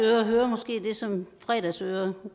hører måske det som fredagsører